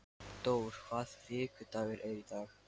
Dór, hvaða vikudagur er í dag?